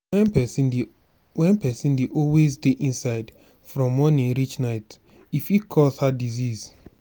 when person dey when person dey always dey inside from morning reach night e fit cause heart disease